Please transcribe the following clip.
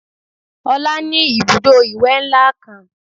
Ọlá ní Ibùdó ìwẹ̀ ńlá kan